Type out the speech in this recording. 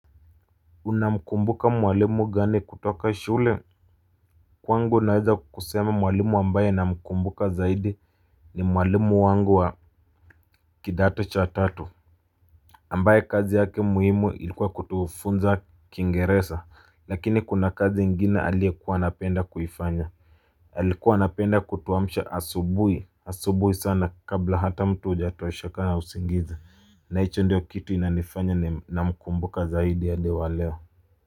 Unamkumbuka mwalimu gani kutoka shule kwangu naweza kusema mwalimu ambaye namkumbuka zaidi ni mwalimu wangu wa kidato cha tatu ambaye kazi yake muhimu ilikuwa kutufunza kiingereza lakini kuna kazi ingine aliekuwa anapenda kuifanya. Alikuwa anapenda kutuamsha asubuhi asubuhi sana kabla hata mtu hujatosheka na usingizi na hicho ndiyo kitu inanifanya ninamkumbuka zaidi hadi wa leo.